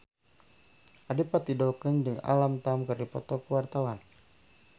Adipati Dolken jeung Alam Tam keur dipoto ku wartawan